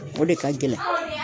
O de ka gɛlɛn.